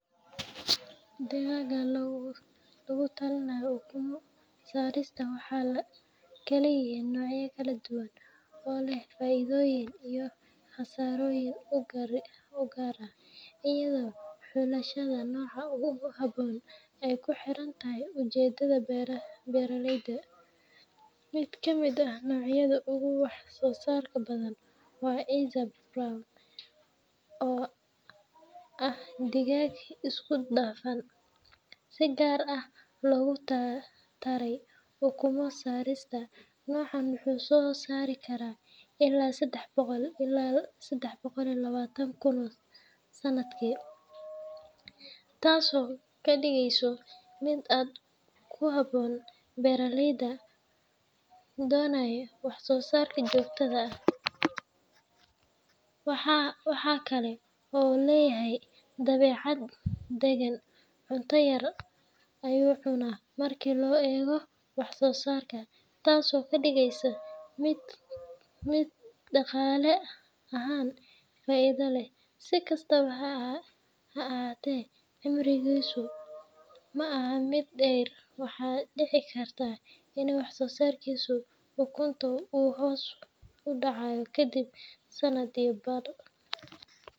Digaagga loogu talinayo ukumo saarista waxay kala yihiin noocyo kala duwan oo leh faa’iidooyin iyo khasaarooyin u gaar ah, iyadoo xulashada nooca ugu habboon ay ku xiran tahay ujeedada beeraleyda. Mid ka mid ah noocyada ugu wax-soosaarka badan waa Isa Brown, oo ah digaag isku dhafan si gaar ah loogu taray ukumo saarista. Noocan wuxuu soo saari karaa ilaa sedax boqol ilaa sedax boqol iyo lawatan ukun sanadkii, taasoo ka dhigaysa mid aad ugu habboon beeraleyda doonaya wax-soosaar joogto ah. Waxa kale oo uu leeyahay dabeecad dagan, cunto yar ayuu cunaa marka loo eego wax-soosaarka, taasoo ka dhigaysa mid dhaqaale ahaan faa’iido leh. Si kastaba ha ahaatee, cimrigiisu ma aha mid dheer, waxaana dhici karta in wax-soosaarka ukunta uu hoos u dhaco kadib sanad iyo badh.